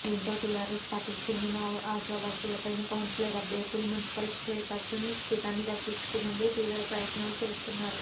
దీంతో టీఆర్ఎస్ పార్టీకి చెందిన ఆశావహులైన కౌన్సిలర్ అభ్యర్థులు మున్సిపల్ చైర్పర్సన్ పీఠాన్ని దక్కించుకునేందుకు త్రీవ ప్రయత్నాలు చేస్తున్నారు